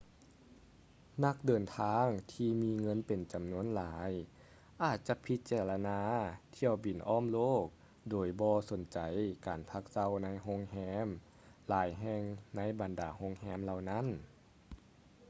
ນັກເດີນທາງທີ່ມີເງິນເປັນຈຳນວນຫຼາຍອາດຈະພິຈາລະນາຖ້ຽວບິນອ້ອມໂລກໂດຍບໍ່ສົນໃຈການພັກເຊົາໃນໂຮງແຮມຫຼາຍແຫ່ງໃນບັນດາໂຮງແຮມເຫຼົ່ານີ້